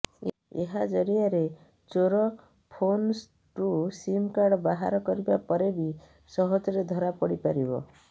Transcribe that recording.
ଏହା ଜରିଆରେ ଚୋର ଫୋନ୍ରୁ ସିମ୍ କାର୍ଡ ବାହାର କରିବା ପରେ ବି ସହଜରେ ଧରାପଡ଼ି ପାରିବ